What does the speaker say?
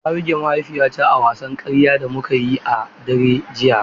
Na buge mahaifiyata a wasan karya da muka yi a daren jiya.